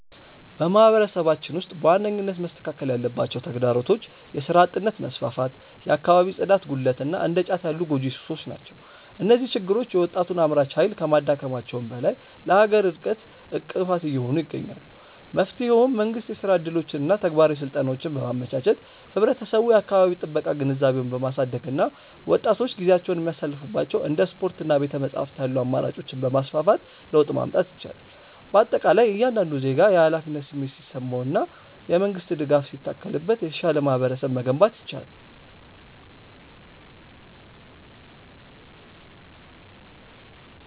በማህበረሰባችን ውስጥ በዋነኝነት መስተካከል ያለባቸው ተግዳሮቶች የሥራ አጥነት መስፋፋት፣ የአካባቢ ጽዳት ጉድለት እና እንደ ጫት ያሉ ጎጂ ሱሶች ናቸው። እነዚህ ችግሮች የወጣቱን አምራች ኃይል ከማዳከማቸውም በላይ ለሀገር እድገት እንቅፋት እየሆኑ ይገኛሉ። መፍትሄውም መንግስት የሥራ ዕድሎችንና ተግባራዊ ስልጠናዎችን በማመቻቸት፣ ህብረተሰቡ የአካባቢ ጥበቃ ግንዛቤውን በማሳደግ እና ወጣቶች ጊዜያቸውን የሚያሳልፉባቸው እንደ ስፖርትና ቤተ-መጻሕፍት ያሉ አማራጮችን በማስፋፋት ለውጥ ማምጣት ይቻላል። በአጠቃላይ እያንዳንዱ ዜጋ የኃላፊነት ስሜት ሲሰማውና የመንግስት ድጋፍ ሲታከልበት የተሻለ ማህበረሰብ መገንባት ይቻላል።